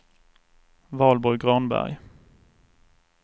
Valborg Granberg